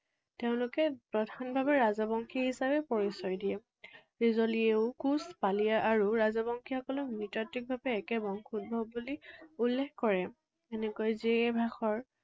তেওঁলোকে প্ৰধানভাৱে ৰাজবংশী হিচাপে পৰিচয় দিয়ে। কোচ, পালীয় আৰু ৰাজবংশীসকলক নৃতাত্ত্বিকভাৱে একে বংশোদ্ভৱ বুলি উল্লেখ কৰে। এনেকৈ